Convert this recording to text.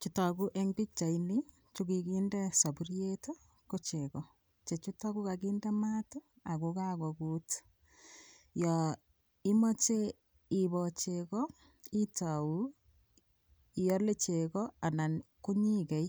Chu tokuu eng pikchaini chekikinde sapuriet ko cheko chechuto kokakinde maat ako kakokut yo imoche iboo cheko itou iole cheko anan konyikei